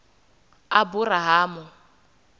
aburahamu